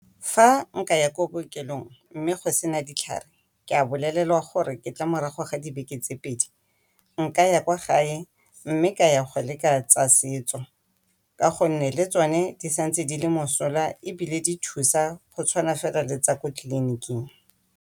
Fa nkaya ko bookelong mme go sena ditlhare ka bolelelwa gore ke tle morago ga dibeke tse pedi, nkaya kwa gae, mme ka ya go leka tsa setso ka gonne le tsone di sa ntse di le mosola ebile di thusa go tshwana fela le tsa ko tleliniking.